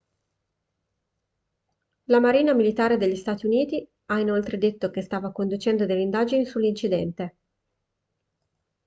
la marina militare degli stati uniti ha inoltre detto che stava conducendo delle indagini sull'incidente